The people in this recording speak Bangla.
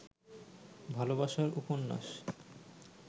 ভালবাসার উপন্যাস